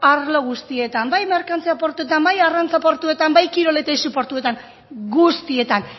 arlo guztietan bai merkantzia portuetan bai arrantza portuetan bai kirol eta aisi portuetan guztietan